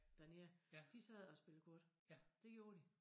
Dernede de sad og spillede kort det gjorde de